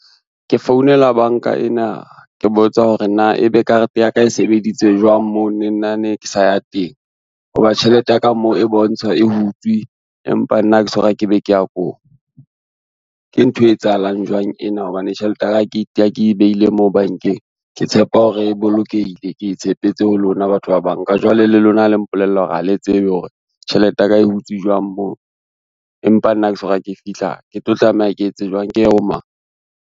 Ke founela banka ena ke botsa hore na ebe karete ya ka e sebeditse jwang moo le nna ne ke sa ya teng, ho ba tjhelete ya ka mo e bontsha e hutswe, empa nna ha ke soka ke be ke ya koo. Ke ntho e etsahalang jwang ena hobane tjhelete ya ka ha ke beile mo bankeng ke tshepa hore e bolokehile ke tshepetse ho lona batho ba banka, jwale le lona le mpolella hore ha le tsebe hore tjhelete ya ka e hutswe jwang moo, empa nna ke so ka ke fihla ke tlo tlameha ke etse jwang ke ye ho mang.